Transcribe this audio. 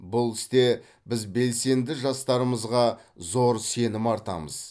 бұл істе біз белсенді жастарымызға зор сенім артамыз